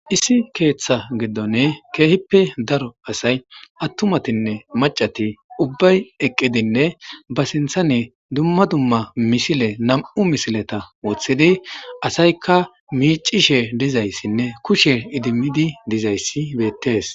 issi keeththa giddone keehippe daro asay attumatinne macati ubbay eqqidinne ba sinthane dumma dumma mishile nam7u misileta wooththidi asayka miicishe dizayssinne kushe idimidi dizayssi beettes